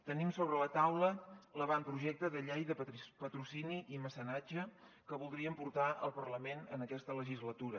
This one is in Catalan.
tenim sobre la taula l’avantprojecte de llei de patrocini i mecenatge que voldríem portar al parlament en aquesta legislatura